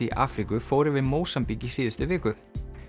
í Afríku fór yfir Mósambík í síðustu viku